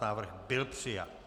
Návrh byl přijat.